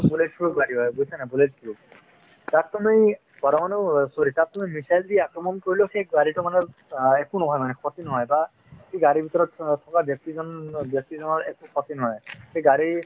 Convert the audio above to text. bullet proof গাড়ী হয় বুজিছানে নাই bullet proof তাত তুমি পৰমাণুৰ অ missile দি আক্ৰমণ কৰিলেও সেই গাড়ীতো অ একো নহয় মানে ক্ষতি নহয় বা সেই গাড়ীৰ ভিতৰত অ থকা ব্যক্তিজন অ ব্যক্তিজনৰ একো ক্ষতি নহয় সেই গাড়ীৰ